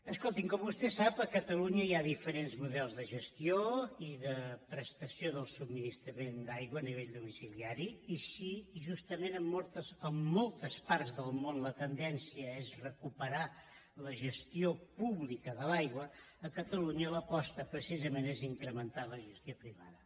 escolti’m com vostè sap a catalunya hi ha diferents models de gestió i de prestació del subministrament d’aigua a nivell domiciliari i si justament en altres parts del món la tendència és recuperar la gestió pública de l’aigua a catalunya l’aposta precisament és incrementar la gestió privada